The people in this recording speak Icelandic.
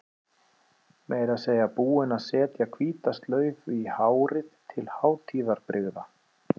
Meira að segja búin að setja hvíta slaufu í hárið til hátíðarbrigða.